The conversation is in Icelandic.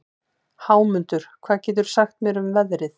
Hámundur, hvað geturðu sagt mér um veðrið?